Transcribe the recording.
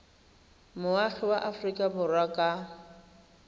moagi wa aforika borwa ka